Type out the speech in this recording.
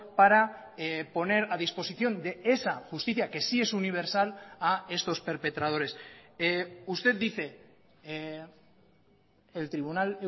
para poner a disposición de esa justicia que sí es universal a estos perpetradores usted dice el tribunal